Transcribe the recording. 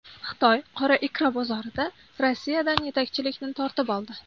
Xitoy qora ikra bozorida Rossiyadan yetakchilikni tortib oldi.